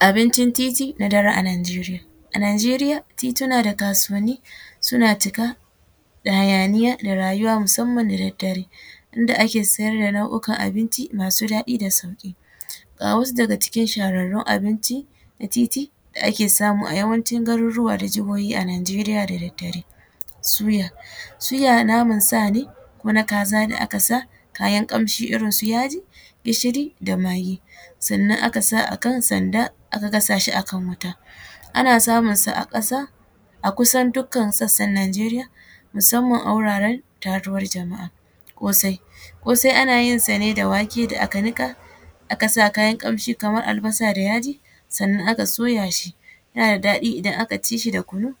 Abincin titi da dare a Nijeriya, a Nijeriya tituna da kasuwanni suna cika da hayaniya musamman da daddare inda ake siyar da na’ukan abinci masu ɗaɗi da sauki, ga wasu daga cikin shahararrun abinci na titi da ake samu a yawancin garuruwa da jahohi a Nijeriya da daddare, suya, suya naman sa ne ko na kaza da aka sa kayan kamshi irin su yaji, gishiri da magi sannan aka sa akan sanda aka gasa shi akan wuta ana samun sa a kasa a kusan dukan sassan Nijeriya musamman a wuraran taruwan jama’a, kosai, kosai ana yinsa ne da wake da aka nika aka sa kayan kamshi kamar albasa da yaji sannan aka soya shi, yana da daɗi idan aka ci shi da kunu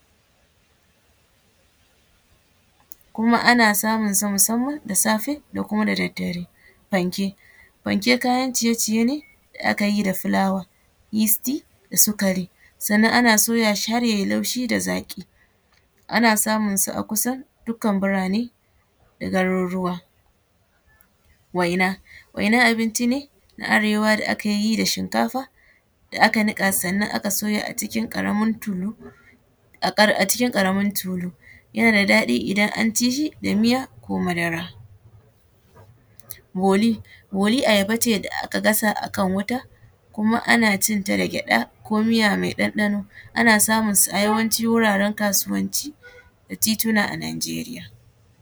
kuma ana samunsa musamman da safe da daddare, Fanke, Fanke kayan ciye-ciye ne da aka yi da fulawa yest da sugari sannan ana soya shi har yayi laushi da zaki, ana samunsa a kusan dukan burane da garuruwa, Waina, waina abinci ne na arewa da ake yi da shinkafa da aka nuka sannan aka soya a cikin karamin tulu a cikin karamin tulu yana da ɗaɗi idan an ci shi da miya ko madara, Boli, boli ayaba ce da aka gasa a kan wuta kuma ana cinta da gyaɗa ko miya mai ɗanɗano ana samunsa a yawanci wuraren kasuwanci da tituna a Nijeriya.